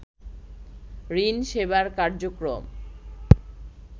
ঋণ সেবার কার্যক্রম